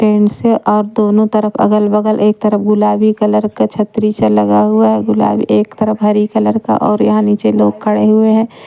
Pant से और दोनों तरफ अगल-बगल एक तरफ गुलाबी कलर का छतरी सा लगा हुआ है गुलाबी एक तरफ हरी कलर का और यहाँ नीचे लोग खड़े हुए हैं।